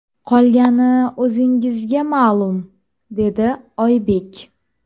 Qolgani o‘zingizga ma’lum”, dedi Oybek.